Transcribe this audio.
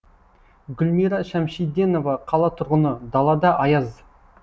гүлмира шәмшиденова қала тұрғыны далада аяз